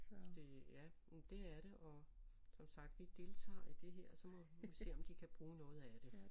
Det ja men det er det og som sagt vi deltager i det her så må vi se om de kan bruge noget af det